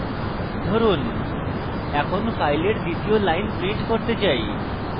ধরুন এখন file দ্বিতীয় line print করতে চাই